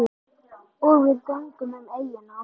Og við göngum um eyjuna.